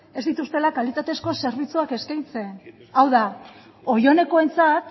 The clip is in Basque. ez dituztela kalitatezko zerbitzuak eskaintzen hau da oionekoentzat